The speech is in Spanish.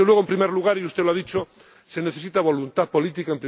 Pero, desde luego, en primer lugar —y usted lo ha dicho—, se necesita voluntad política